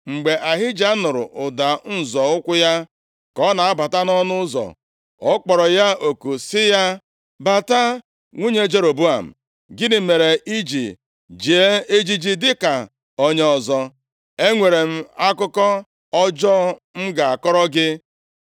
Mgbe Ahija nụrụ ụda nzọ ụkwụ ya ka ọ na-abata nʼọnụ ụzọ, ọ kpọrọ ya oku sị ya, “Bata, nwunye Jeroboam. Gịnị mere i ji jie ejiji dịka onye ọzọ? Enwere m akụkọ ọjọọ m ga-akọrọ gị